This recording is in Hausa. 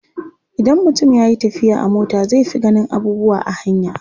Idan mutum ya yi tafiya a mota zai fi ganin abubuwa a hanya.